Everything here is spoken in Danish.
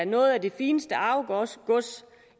noget af det fineste arvegods